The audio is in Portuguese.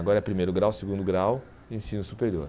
Agora é primeiro grau, segundo grau e ensino superior.